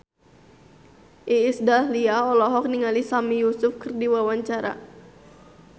Iis Dahlia olohok ningali Sami Yusuf keur diwawancara